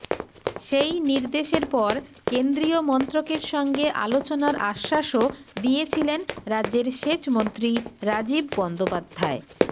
সেই নির্দেশের পর কেন্দ্রীয় মন্ত্রকের সঙ্গে আলোচনার আশ্বাসও দিয়েছিলেন রাজ্যের সেচমন্ত্রী রাজীব বন্দ্যোপাধ্যায়